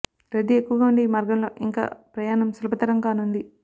రద్ధీ ఎక్కువగా ఉండే ఈ మార్గంలో ఇంక ప్రయాణం సులభతరం కానుంది